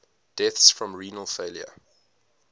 deaths from renal failure